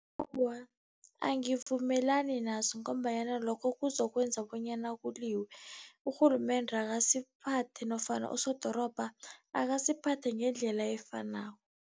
Awa, angivumelani naso ngombanyana lokho kuzokwenza bonyana kuliwe. Urhulumende akasiphathe nofana usodorobha akasiphathe ngendlela efanako.